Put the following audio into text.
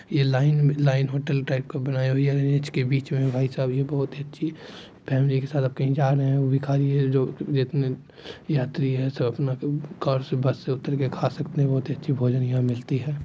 ये line line hotel type का बनाई हुई है बीच में भाई साहब यह बहुत अच्छी फैमिली के साथ आप कहीं जा रहे है यात्री है सब अपना कार से बस से उतर के खा सकते है बहुत अच्छी भोजन यहाँ मिलती है।